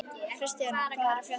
Kristína, hvað er að frétta?